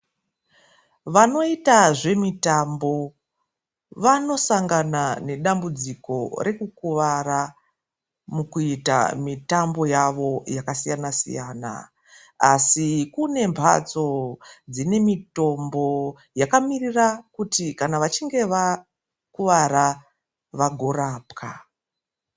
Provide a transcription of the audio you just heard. Vanoita zvimitambo vanosangana nedambudziko rekukuvara mukuita mitambo yavo yakasiyana siyana asi kune matso dzine mitombo yakamirira kuti vachinge vakuvara vagorapwa .